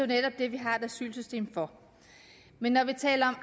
netop det vi har et asylsystem for men når vi taler